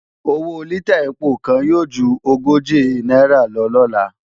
Owó lítà ẹpo kan yóò ju ogóje náírà lọ lọ́la